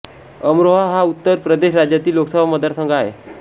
अमरोहा हा उत्तर प्रदेश राज्यातील लोकसभा मतदारसंघ आहे